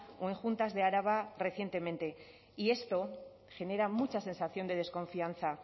o en juntas de araba recientemente y esto genera mucha sensación de desconfianza